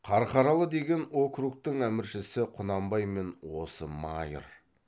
қарқаралы деген округтің әміршісі құнанбай мен осы майыр